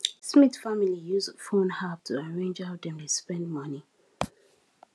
smith family use phone app to arrange how dem dey spend money